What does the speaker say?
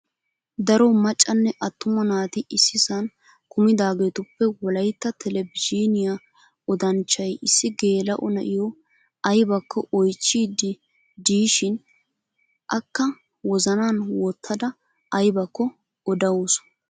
Daro maccanne attuma naati issisan kumidaagetuppe wolayitta telbejiiniyaa odanchchayi issi geela''o na'iyoo ayibakko oyichchiiddi diishshin. Akka wozanan wottada ayibakko odawusu.